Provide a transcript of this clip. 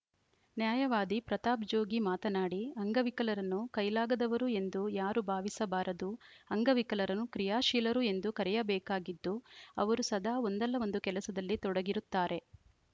ನ್ಯಾಯವಾದಿ ಪ್ರತಾಪ್‌ಜೋಗಿ ಮಾತನಾಡಿ ಅಂಗವಿಕಲರನ್ನು ಕೈಲಾಗದವರು ಎಂದು ಯಾರು ಭಾವಿಸಬಾರದು ಅಂಗವಿಕಲರನ್ನು ಕ್ರಿಯಾಶೀಲರು ಎಂದು ಕರೆಯಬೇಕಾಗಿದ್ದು ಅವರು ಸದಾ ಒಂದಲ್ಲ ಒಂದು ಕೆಲಸದಲ್ಲಿ ತೊಡಗಿರುತ್ತಾರೆ